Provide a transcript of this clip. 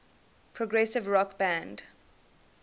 progressive rock band